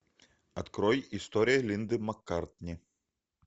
открой история линды маккартни